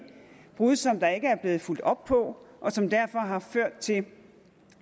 brud som der ikke er blevet fulgt op på og som derfor har ført til